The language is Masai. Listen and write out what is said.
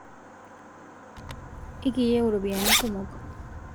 Ekiyieu ropiyiani kumok